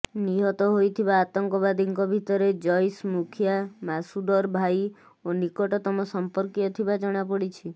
ନିହତ ହୋଇଥିବା ଆତଙ୍କବାଦୀଙ୍କ ଭିତରେ ଜୈସ ମୁଖିଆ ମାସୁଦର ଭାଇ ଓ ନିକଟତମ ସମ୍ପର୍କୀୟ ଥିବା ଜଣାପଡିଛି